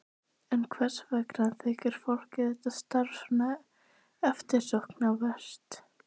En hvers vegna þykir fólki þetta starf svona eftirsóknarvert?